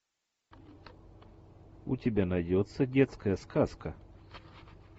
у тебя найдется детская сказка